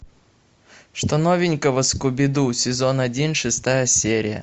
что новенького скуби ду сезон один шестая серия